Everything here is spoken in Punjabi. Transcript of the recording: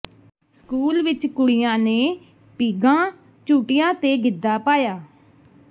ਸਕੂਲ ਵਿੱਚ ਕੁੜੀਆਂ ਨੇ ਪੀਘਾਂ ਝੂਟੀਆਂ ਤੇ ਗਿੱਧਾ ਪਾਇਆ